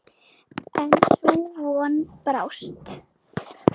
En sú von brást.